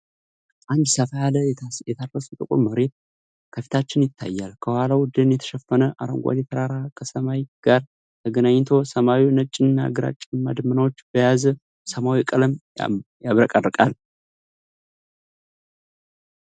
አንድ ሰፋ ያለ የታረሰ ጥቁር መሬት ከፊታችን ይታያል። ከኋላው ደን የተሸፈነ አረንጓዴ ተራራ ከሰማይ ጋር ተገናኝቶ፤ ሰማዩ ነጭና ግራጫማ ደመናዎች በያዘ ሰማያዊ ቀለም ያብረቀርቃል።